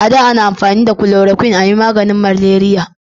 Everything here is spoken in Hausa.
a da ana amfani da kuloroquin a yi maganin maleriya